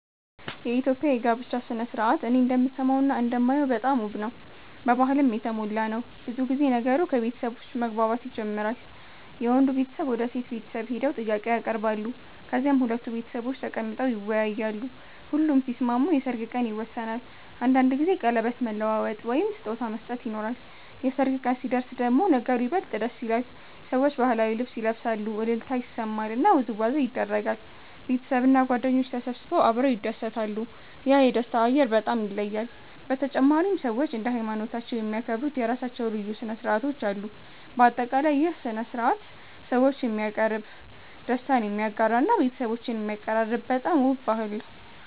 የኢትዮጵያ የጋብቻ ሥነ ሥርዓት እኔ እንደምሰማውና እንደማየው በጣም ውብ ነው፣ በባህልም የተሞላ ነው። ብዙ ጊዜ ነገሩ ከቤተሰቦች መግባባት ይጀምራል፤ የወንዱ ቤተሰብ ወደ የሴት ቤተሰብ ሄደው ጥያቄ ያቀርባሉ፣ ከዚያም ሁለቱ ቤተሰቦች ተቀምጠው ይወያያሉ። ሁሉም ሲስማሙ የሰርግ ቀን ይወሰናል፤ አንዳንድ ጊዜ ቀለበት መለዋወጥ ወይም ስጦታ መስጠት ይኖራል። የሰርግ ቀን ሲደርስ ደግሞ ነገሩ ይበልጥ ደስ ይላል፤ ሰዎች ባህላዊ ልብስ ይለብሳሉ፣ እልልታ ይሰማል እና ውዝዋዜ ይደረጋል። ቤተሰብና ጓደኞች ተሰብስበው አብረው ይደሰታሉ፤ ያ የደስታ አየር በጣም ይለያል። በተጨማሪም ሰዎች እንደ ሃይማኖታቸው የሚያከብሩት የራሳቸው ልዩ ሥነ ሥርዓቶች አሉ። በአጠቃላይ ይህ ሥነ ሥርዓት ሰዎችን የሚያቀርብ፣ ደስታን የሚያጋራ እና ቤተሰቦችን የሚያቀራርብ በጣም ውብ ባህል ነው።